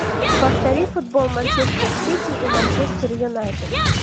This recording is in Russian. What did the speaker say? повтори футбол манчестер сити и манчестер юнайтед